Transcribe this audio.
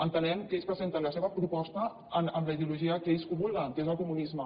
entenem que ells presenten la seva proposta amb la ideologia amb què ells combreguen que és el comunisme